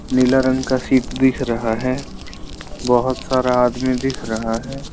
नीला रंग का सीट दिख रहा है बहोत सारा आदमी दिख रहा है।